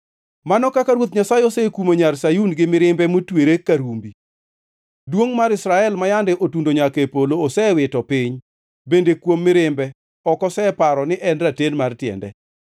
Mano kaka Ruoth Nyasaye osekumo Nyar Sayun gi mirimbe motwere ka rumbi! Duongʼ mar Israel ma yande otundo nyaka e polo, osewito piny, bende kuom mirimbe ok oseparo ni en raten mar tiende.